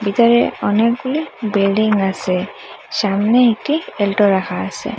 ভিতরে অনেকগুলি বিল্ডিং আসে সামনে একটি এল্টো রাখা আসে।